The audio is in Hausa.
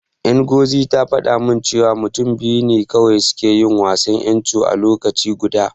Ngozi ta faɗa min cewa mutum biyu ne kawai suke yin wasan Ncho a lokaci guda.